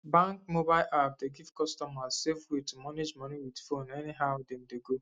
bank mobile app dey give customer safe way to manage money with phone any how them dey go